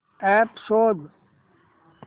app शोध